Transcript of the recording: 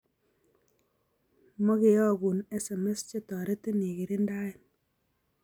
Makeokun SMS che toritin ikirindae